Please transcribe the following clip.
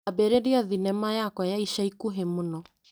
Ambĩrĩria thinema yakwa ya ica ikuhĩ mũno.